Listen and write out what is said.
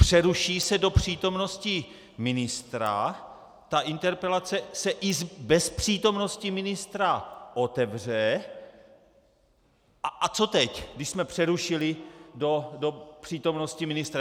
Přeruší se do přítomnosti ministra, ta interpelace se i bez přítomnosti ministra otevře - a co teď, když jsme přerušili do přítomnosti ministra?